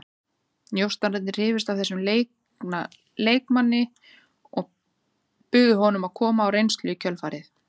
Njósnararnir hrifust af þessum leikna leikmanni og buðu honum að koma á reynslu í kjölfarið.